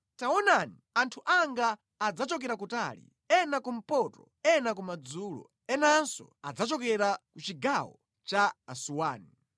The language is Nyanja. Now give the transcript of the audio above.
Taonani, anthu anga adzachokera kutali, ena kumpoto, ena kumadzulo, enanso adzachokera ku chigawo cha Asuwani.”